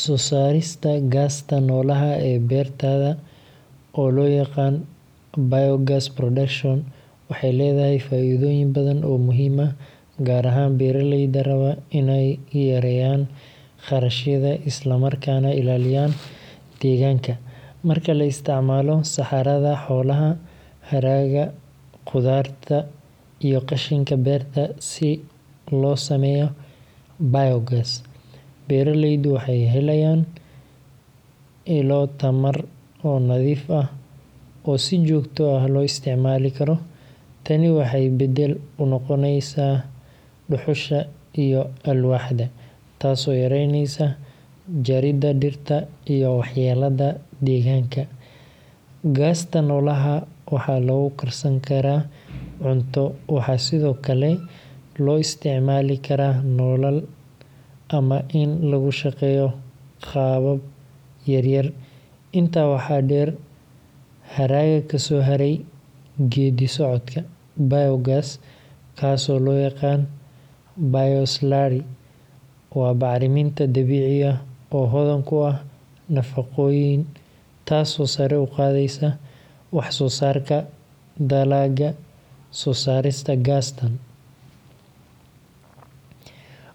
Soo saarista gaasta noolaha ee beertada, oo loo yaqaan biogas production, waxay leedahay faa’iidooyin badan oo muhiim ah, gaar ahaan beeraleyda raba inay yareeyaan kharashyada isla markaana ilaaliyaan deegaanka. Marka la isticmaalo saxarada xoolaha, hadhaaga qudaarta, iyo qashinka beerta si loo sameeyo biogas, beeraleydu waxay helayaan ilo tamar oo nadiif ah oo si joogto ah loo isticmaali karo. Tani waxay beddel u noqotaa dhuxusha iyo alwaaxda, taasoo yareyneysa jaridda dhirta iyo waxyeelada deegaanka. Gaasta noolaha waxaa lagu karsan karaa cunto, waxaa sidoo kale loo isticmaali karaa nalal ama in lagu shaqeeyo qalab yar-yar. Intaa waxaa dheer, hadhaaga kasoo haray geeddi-socodka biogas—kaas oo loo yaqaan bio-slurry—waa bacriminta dabiici ah oo hodan ku ah nafaqooyin, taasoo sare u qaadaysa wax-soo-saarka dalagga. Soo saarista gaastan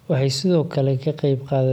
waxay sidoo kale ka qayb qaadataa.